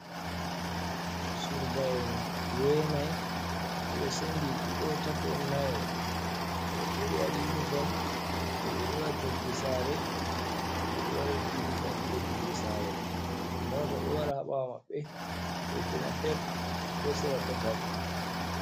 Surbaen jenayi ɓedo sendi ɗiɗo tato nayo woɓɓe ɓedo wadi uniform woɓɓe do wadi toggi sare ɓedo wadi uniform be toggi sare ,mota do wara haɓawo mabɓe kekenapeb be ɗo sera ɗatal.